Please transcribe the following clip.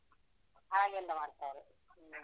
ಹಾಗೆಲ್ಲ ಮಾಡ್ತಾರೆ. ಹ್ಮ.